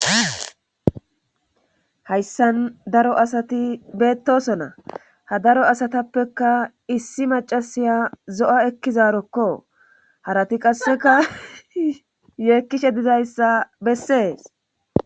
Hayssan daro asati beettosona ha daro asatappeka issi macasiya zo7a ekkizaarokko harati qasseka yeekkishe dizayssa bessees